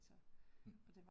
Mh